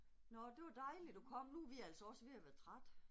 Nåh, det var dejligt du kom, nu er vi altså også ved at være trætte